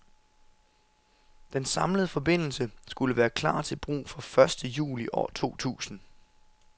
Den samlede forbindelse skulle være klar til brug fra første juli år totusind.